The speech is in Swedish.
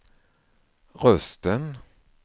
rösten